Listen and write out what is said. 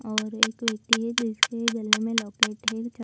और एक व्यक्ति है जिसके गले में लॉकेट है।